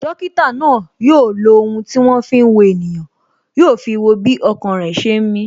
Dókítà náà yo lo ohun tí wọn fi ń wo ènìyàn, yo fi wo bí ọkàn rẹ ṣe ń mi